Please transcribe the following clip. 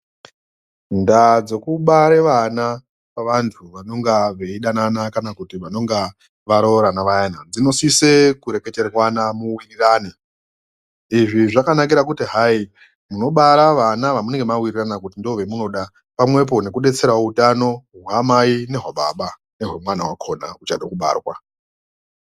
Ndaa dzokubare vana pavantu vanonga veidanana kana kuti vanonga varoorana vayana dzinosise kureketerwana muwirirane. Izvi zvakanakire kuti hayi, munobara vana vamunenge mawirirana kuti ndioovemunoda. Pamwepo nekudetserawo utano hwamai nehwababa nehwemwana uchade kubarwa